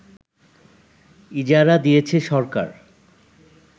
ইজারা দিয়েছে সরকার